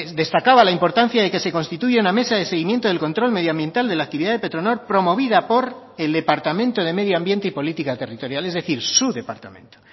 destacaba la importancia de que se constituya una mesa de seguimiento del control medioambiental de la actividad de petronor promovida por el departamento de medio ambiente y política territorial es decir su departamento